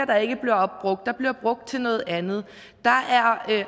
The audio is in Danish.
der ikke bliver opbrugt der bliver brugt til noget andet der er